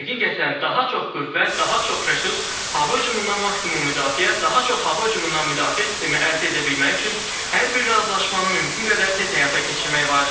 Həqiqətən, daha çox qüvvə, daha çox resurs, hava hücumundan maksimum müdafiə, daha çox hava hücumundan müdafiə sistemi əldə edə bilmək üçün hər bir razılaşmanı mümkün qədər tez həyata keçirmək vacibdir.